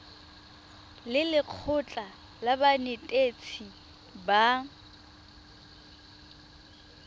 le lekgotlha la banetetshi ba